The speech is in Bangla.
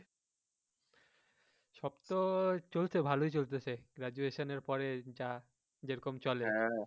সব তো চলছে ভালোই চলছে সেই graduation এর পরে যা যেরকম চলে আরকি